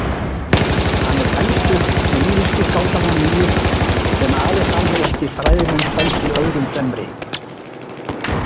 Hann er elstur lýrísku skáldanna níu sem alexandrískir fræðimenn töldu öðrum fremri.